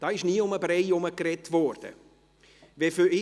Da wurde nie um den Brei herumgeredet.